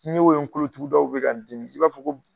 N ye o ye n kolotugudaw bɛ ka n dimi i b'a fɔ ko